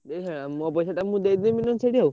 ଦେଇସାରିଲେଣି ଆଉ ମୋ ପଇସା ମୁଁ ନେଇ ସେଠି ଆଉ।